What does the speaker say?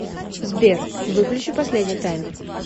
сбер выключи последний таймер